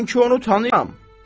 Mən ki onu tanıyıram.